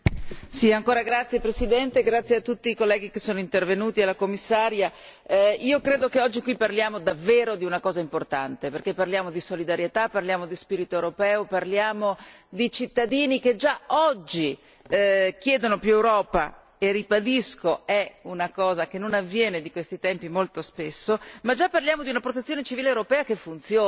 Signor Presidente, onorevoli colleghi, grazie a tutti i colleghi che sono intervenuti, al Commissario, credo che oggi qui parliamo davvero di una cosa importante, perché parliamo di solidarietà, parliamo di spirito europeo, parliamo di cittadini che già oggi chiedono più Europa e, ribadisco, è una cosa che non avviene di questi tempi molto spesso, ma già parliamo di una protezione civile europea che funziona.